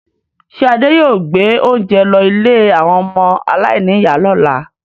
Ṣé Adé yóò gbé oúnjẹ lọ ilé àwọn ọmọ aláìníìyá lọ́la?